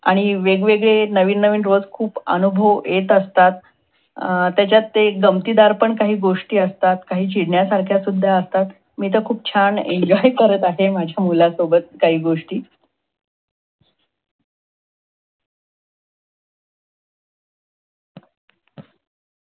आणि वेगवेगळे रोज नविन नविन खूपअनुभव येत असतात. त्याच्यात एक काही गमतीदार गोष्टी पण असतात. काही चीडण्यासारख्या सुद्धा असतात मी खूप छान enjoy करत आहे. माझ्या मुलासोबत काही गोष्टी.